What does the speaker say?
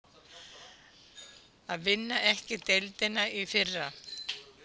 Að vinna ekki deildina í fyrra